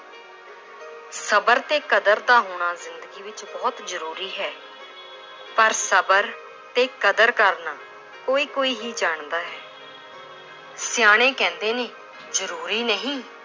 ਸਬਰ ਤੇ ਕਦਰ ਦਾ ਹੋਣਾ ਜ਼ਿੰਦਗੀ ਵਿੱਚ ਬਹੁਤ ਜ਼ਰੂਰੀ ਹੈ l ਪਰ ਸਬਰ ਤੇ ਕਦਰ ਕਰਨਾ ਕੋਈ ਕੋਈ ਹੀ ਜਾਣਦਾ ਹੈ l ਸਿਆਣੇੇ ਕਹਿੰਦੇ ਨੇ ਜ਼ਰੂਰੀ ਨਹੀਂ